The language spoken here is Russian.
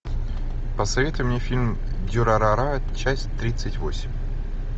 посоветуй мне фильм дюрарара часть тридцать восемь